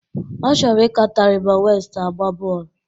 Ọ chọrọ ị ka Taribo West agba bọọlụ